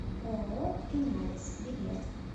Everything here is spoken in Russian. ооо линарис билет